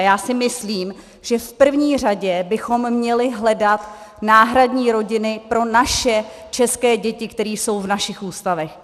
A já si myslím, že v první řadě bychom měli hledat náhradní rodiny pro naše české děti, které jsou v našich ústavech.